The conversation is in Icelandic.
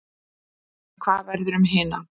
En hvað verður um hina?